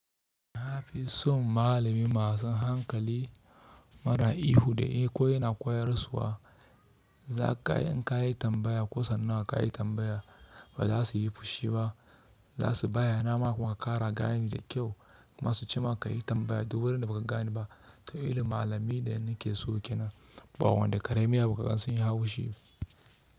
Na fi son malami masu hankali mara ihu da iko yana koyarsuwa. Za ka yi in ka yi tambaya ko sannawa ka yi tambaya ba za su yi fushi ba. Za su bayyana maka kuma ka kara gani da kyau kuma su ce ma ka yi tambaya duk wurin da ba ka gane ba. To irin malamai da nake so kenan, ba wanda karamin abu zasuyi hau shi.